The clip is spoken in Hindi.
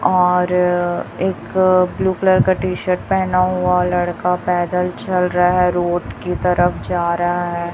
और एक ब्लू कलर का टी शर्ट पहना हुआ लड़का पैदल चल रहा है रोड की तरफ जा रहा है।